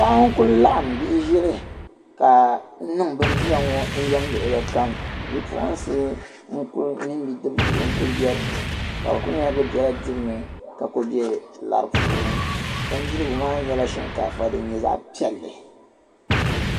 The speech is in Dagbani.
paɣa n kuli laɣim bihi ʒili ka niŋ bibdira ŋɔ yɛm luɣili kam bi puɣinsi mini bipuɣinsi n kuli be dini ka bɛ kuli nyɛla bɛ bela dibu ni ka kuli lara puuni bindirigu maa nyɛla shikaafa din nyɛ zaɣa piɛli